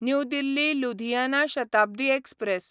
new Delhi Ludhiana Shatabdi express